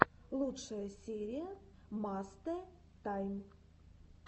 лучшая серия мастэ тайм